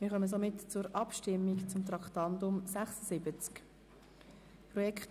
Wir kommen somit zur Abstimmung über das Traktandum 76.